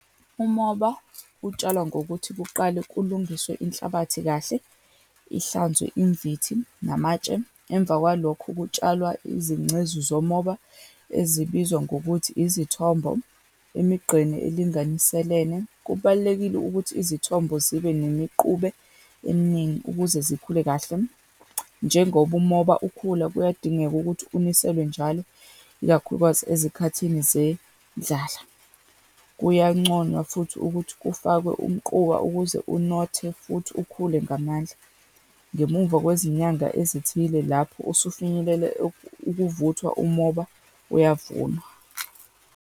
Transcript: Umoba utshalwa ngokuthi kuqale kulungiswe inhlabathi kahle, ihlanzwe imvithi namatshe. Emva kwalokho kutshalwa izingcezu zomoba ezibizwa ngokuthi izithombo emigqeni elinganiselene. Kubalulekile ukuthi izithombo zibe nemiqube eminingi ukuze zikhule kahle. Njengoba umoba ukhula, kuyadingeka ukuthi uniselwe njalo, ikakhulukazi ezikhathini zendlala. Kuyanconywa futhi ukuthi kufakwe umquba ukuze unothe, futhi ukhule ngamandla. Ngemuva kwezinyanga ezithile lapho usufinyelele ukuvuthwa umoba, uyavunwa.